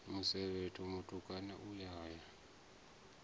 musevhetho mutukana u a ya